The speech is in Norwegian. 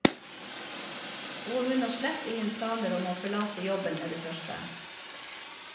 Og hun har slett ingen planer om å forlate jobben med det første.